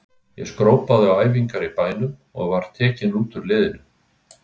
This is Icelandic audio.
Ég skrópaði á æfingar í bænum og var tekinn út úr liðinu.